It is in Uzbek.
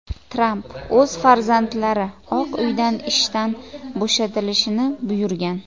Tramp o‘z farzandlari Oq Uydan ishdan bo‘shatilishini buyurgan.